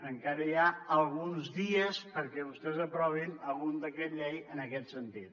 encara hi ha alguns dies perquè vostès aprovin algun decret llei en aquest sentit